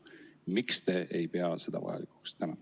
Miks te ei pea seda vajalikuks?